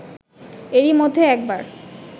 এরই মধ্যে একবার